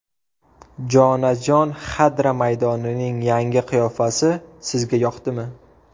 Jonajon Xadra maydonining yangi qiyofasi sizga yoqdimi?